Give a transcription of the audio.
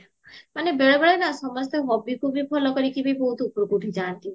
ମାନେ ବେଳେ ବେଳେ ନା ସମସ୍ତେ hobbyକୁ ବି follow କରିକିବି ବହୁତ ଉପରକୁ ଉଠିଯାନ୍ତି